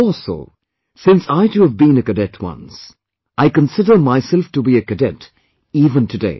More so, since I too have been a cadet once; I consider myself to be a cadet even, today